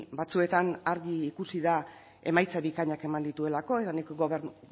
batzuetan argi ikusi da emaitza bikainak eman dituelako eta nik